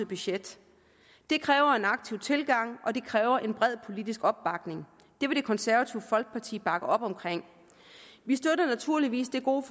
budget det kræver en aktiv tilgang og det kræver en bred politisk opbakning det vil det konservative folkeparti bakke op om vi støtter naturligvis det gode